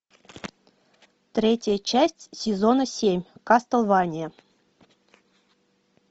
третья часть сезона семь кастлвания